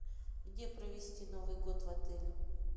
где провести новый год в отеле